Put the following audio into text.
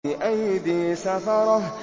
بِأَيْدِي سَفَرَةٍ